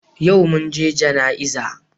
Yau mun je jana'iza.